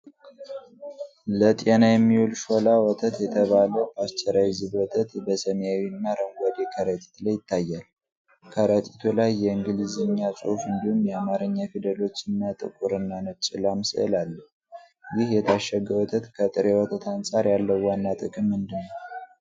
ለጤና የሚውል ሾላ ወተት የተባለ ፓስቸራይዝድ ወተት በሰማያዊና አረንጓዴ ከረጢት ላይ ይታያል። ከረጢቱ ላይ የእንግሊዝኛ ጽሑፍ እንዲሁም የአማርኛ ፊደሎችና ጥቁርና ነጭ ላም ስዕል አለ። ይህ የታሸገ ወተት ከጥሬ ወተት አንጻር ያለው ዋና ጥቅም ምንድን ነው?